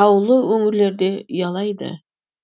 таулы өңірлерде ұялайды